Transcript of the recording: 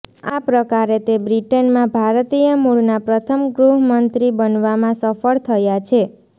આ પ્રકારે તે બ્રિટેનમાં ભારતીય મૂળના પ્રથમ ગૃહમંત્રી બનવામાં સફળ થયા છે